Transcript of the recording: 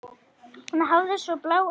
Hún hafði svo blá augu.